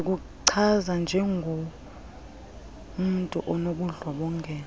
zikuchaza njengomntu onobundlobongela